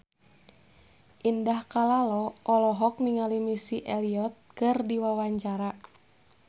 Indah Kalalo olohok ningali Missy Elliott keur diwawancara